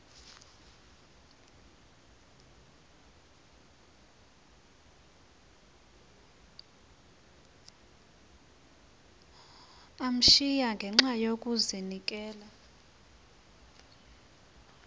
kamsinya ngenxa yokazinikela